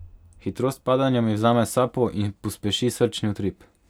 Hitrost padanja mi vzame sapo in pospeši srčni utrip.